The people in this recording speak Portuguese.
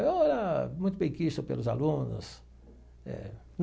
Eu era muito benquisto pelos alunos.